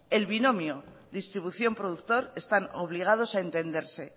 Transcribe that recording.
el binomio distribución productor están obligados a entenderse